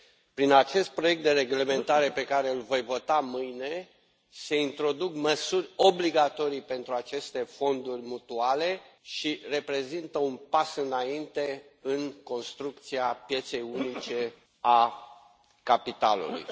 Prin acest proiect de reglementare pe care îl voi vota mâine, se introduc măsuri obligatorii pentru aceste fonduri mutuale și se face un pas înainte în construcția pieței unice a capitalului.